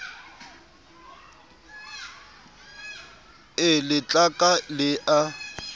e le tlaka le a